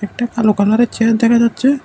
একটা কালো কালারের চেয়ার দেখা যাচ্ছে।